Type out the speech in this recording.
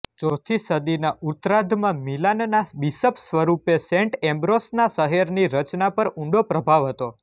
ચોથી સદીના ઉત્તરાર્ધમાં મિલાનના બિશપ સ્વરૂપે સેન્ટ એમ્બ્રોસના શહેરની રચના પર ઊંડો પ્રભાવ હતો